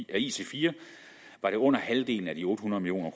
af ic4 var det under halvdelen af de otte hundrede million